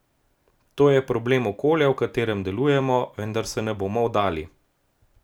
To je problem okolja, v katerem delujemo, vendar se ne bomo vdali.